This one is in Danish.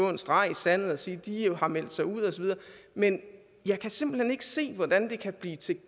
en streg i sandet og sige at de jo har meldt sig ud osv men jeg kan simpelt hen ikke se hvordan det kan blive til